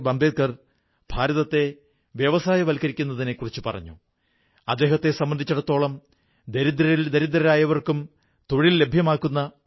മഹർഷി വാത്മീകി സകാരാത്മകമായ ചിന്തകൾക്ക് പ്രാധാന്യം കൊടുത്തു അദ്ദേഹത്തെ സംബന്ധിച്ചിടത്തോളം സേവനത്തിനും മാനവീയമായ ഗരിമയ്ക്കും സർവ്വോച്ച സ്ഥാനമാണുള്ളത്